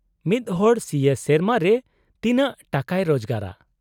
-ᱢᱤᱫᱦᱚᱲ ᱥᱤ ᱮ ᱥᱮᱨᱢᱟ ᱨᱮ ᱛᱤᱱᱟᱹᱜ ᱴᱟᱠᱟᱭ ᱨᱳᱡᱽᱜᱟᱨᱟ ?